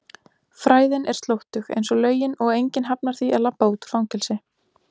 fræðin er slóttug einsog lögin og enginn hafnar því að labba út úr fangelsi.